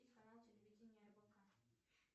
канал телевидения рбк